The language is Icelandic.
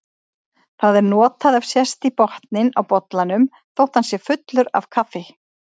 Það er notað ef sést í botninn á bollanum þótt hann sé fullur af kaffi.